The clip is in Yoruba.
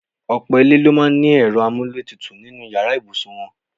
Ọ̀pò̩ ilé ló máa ní e̩ro̩ amúlétutù nínú yàrá ìbùsùn wo̩n.